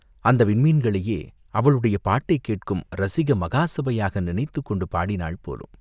அந்த விண்மீன்களையே அவளுடைய பாட்டைக் கேட்கும் ரஸிக மகாசபையாக நினைத்துக் கொண்டு பாடினாள் போலும்!